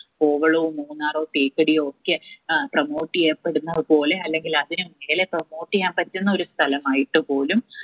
കോവളവും മൂന്നാറും തേക്കടിയൊക്കെ ഏർ promote എയ്യപ്പെടുന്ന പോലെ അല്ലെങ്കിൽ അതിന് മേലെ promote എയ്യാൻ പറ്റുന്ന ഒരു സ്ഥലമായിട്ട് പോലും